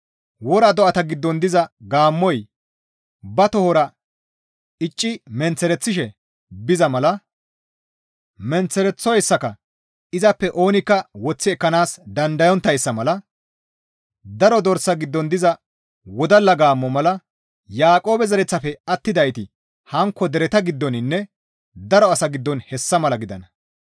Wora do7ata giddon diza gaammoy, ba tohora icci menththereththishe biza mala, menththereththoyssaka izappe oonikka woththi ekkanaas dandayonttayssa mala; Daro dorsa giddon diza wodalla gaammo mala; Yaaqoobe zereththafe attidayti hankko dereta giddoninne daro asa giddon hessa mala gidana.